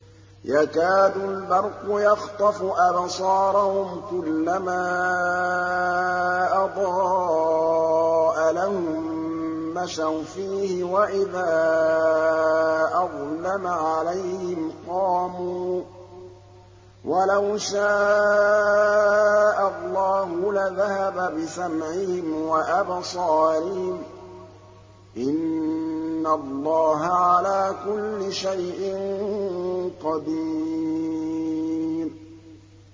يَكَادُ الْبَرْقُ يَخْطَفُ أَبْصَارَهُمْ ۖ كُلَّمَا أَضَاءَ لَهُم مَّشَوْا فِيهِ وَإِذَا أَظْلَمَ عَلَيْهِمْ قَامُوا ۚ وَلَوْ شَاءَ اللَّهُ لَذَهَبَ بِسَمْعِهِمْ وَأَبْصَارِهِمْ ۚ إِنَّ اللَّهَ عَلَىٰ كُلِّ شَيْءٍ قَدِيرٌ